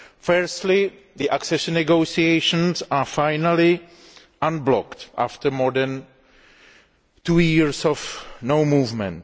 Firstly, the accession negotiations are finally unblocked after more than two years without movement.